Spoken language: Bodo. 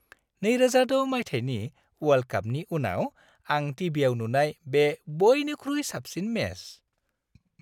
2006 मायथाइनि वर्ल्ड कापनि उनाव आं टि.भि.आव नुनाय बे बइनिख्रुइ साबसिन मेच।